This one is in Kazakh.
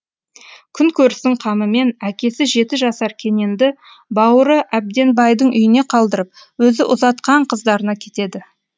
күн көрістің қамымен әкесі жеті жасар кененді бауыры әбденбайдың үйіне қалдырып өзі ұзатқан қыздарына кетеді